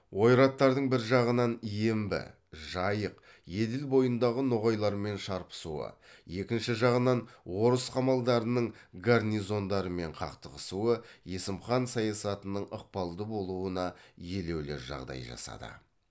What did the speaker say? ойраттардың бір жағынан ембі жайық еділ бойындағы ноғайлармен шарпысуы екінші жағынан орыс қамалдарының гарнизондарымен қақтығысуы есім хан саясатының ықпалды болуына елеулі жағдай жасады